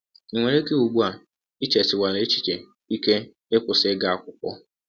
Ọ nwere ike, ụgbụ a, i chesiwela echiche ike ịkwụsị ịga akwụkwọ.